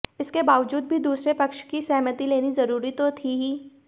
इसके बावजूद भी दूसरे पक्ष की सहमति लेनी जरूरी तो थी ही